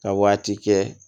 Ka waati kɛ